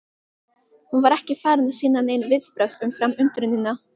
Hún var ekki farin að sýna nein viðbrögð umfram undrunina.